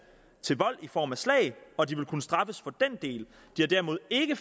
til vold i form af slag og de vil kunne straffes for den del de har derimod ikke